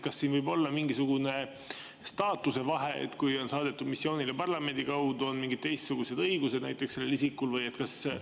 Kas siin võib olla mingisugune staatuse vahe, et kui on saadetud missioonile parlamendi kaudu, siis on sellel isikul näiteks mingid teistsugused õigused?